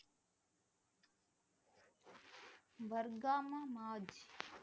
வர்க்காமா மாஜ்